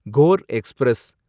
core express